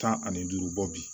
Tan ani duuru bɔ bi